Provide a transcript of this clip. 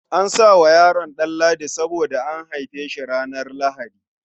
An sa wa yaron suna Ɗanladi saboda an haife shi ranar Lahadi.